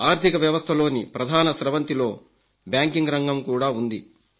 ఆర్థిక వ్యవస్థలోని ప్రధాన స్రవంతిలో బ్యాంకింగ్ రంగం కూడా ఉంది